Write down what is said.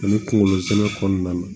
Ani kunkolo zɛmɛ kɔnɔna na